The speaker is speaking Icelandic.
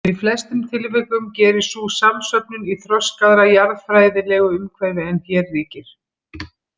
Í flestum tilvikum gerist sú samsöfnun í „þroskaðra jarðfræðilegu umhverfi“ en hér ríkir.